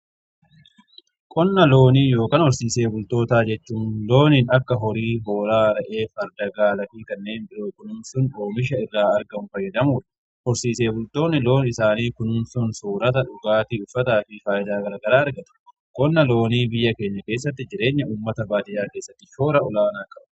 Qonna loonii ykn horsiise bultootaa jechuun looniin akka horii, hoolaa, re'ee, farda, gaalaafii kanneen biroo kunuunsun oomisha irraa argamu fayyadamuudha. Horsiisee bultoonni loon isaanii kunuunsun soorata, dhugaatii, uffataa fi faayidaa garagaraa argatu. Qonna loonii biyya keenya keessatti jireenya uummata baadiyyaa keessattii shoora olaanaa qaba.